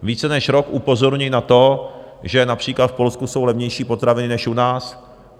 Více než rok upozorňuji na to, že například v Polsku jsou levnější potraviny než u nás.